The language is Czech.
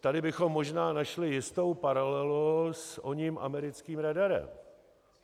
Tady bychom možná našli jistou paralelu s oním americkým radarem.